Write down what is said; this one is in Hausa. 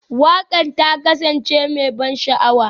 Waƙar ta kasance mai ban sha'awa?